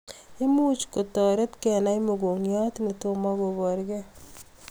Imuch kotarit kenai mogongiot netomoo kobarkee